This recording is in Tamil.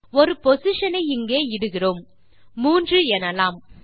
ஒரு பொசிஷன் ஐ இங்கே இடுகிறோம் மூன்று எனலாம்